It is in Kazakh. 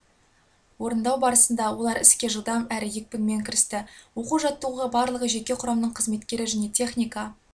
орындау барысында олар іске жылдам әрі екпінмен кірісті оқу-жаттығуға барлығы жеке құрамның қызметкері және техника